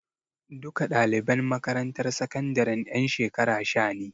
Duka ɗaliban makarantar sakandaren ƴan shekara sha ne.